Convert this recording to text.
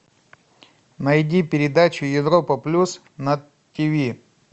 найди передачу европа плюс на тв